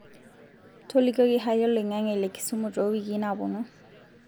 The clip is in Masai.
tolikioki hali oloing'ang'e le Kisumu to wiki napuonu